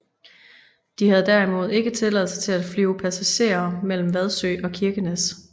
De havde derimod ikke tilladelse til at flyve passagerere mellem Vadsø og Kirkenes